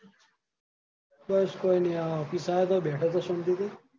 બસ કોય ની આહ office આયો તો બેઠો તો શાંતિ થી.